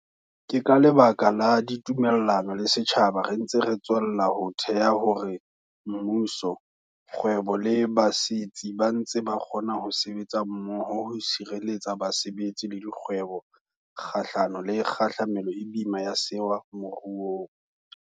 Ke ka lebaka la ditumellano le setjhaba re ntse re tswella ho theha hore mmuso, kgwebo le basetsi ba ntse ba kgona ho sebetsa mmoho ho tshireletsa basebetsi le dikgwebo kgahlano le kgahlamelo e boima ya sewa moruong.